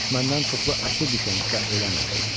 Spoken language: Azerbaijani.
Düşməndən çoxlu əsir düşən və ölən oldu.